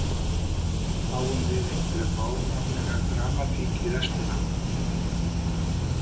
Fáum við einhverja fáránlega dramatík í restina??